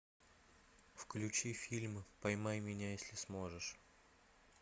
включи фильм поймай меня если сможешь